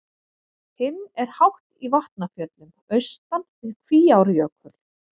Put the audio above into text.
Hinn er hátt í Vatnafjöllum austan við Kvíárjökul.